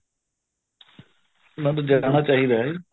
ਨਾਲੇ ਜਾਣਾ ਚਾਹੀਦਾ ਏ ਜ਼ੀ